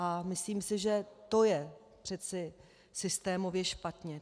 A myslím si, že to je přeci systémově špatně.